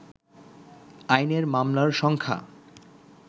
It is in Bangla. আইনের মামলার সংখ্যা